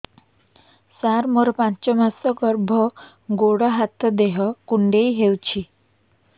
ସାର ମୋର ପାଞ୍ଚ ମାସ ଗର୍ଭ ଗୋଡ ହାତ ଦେହ କୁଣ୍ଡେଇ ହେଉଛି